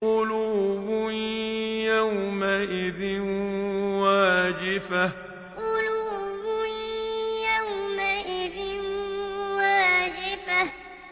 قُلُوبٌ يَوْمَئِذٍ وَاجِفَةٌ قُلُوبٌ يَوْمَئِذٍ وَاجِفَةٌ